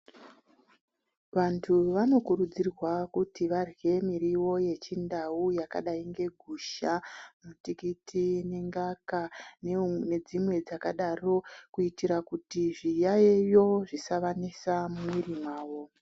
Vantu vanokurudzirwaa kuti vadyee muriwo yechindau yakadai ngegushaa, mitikiti, mingaka nedzimwe dzakadaro kuitira kuti zviyayiyo zvisavanetsaa mumuviri mavo.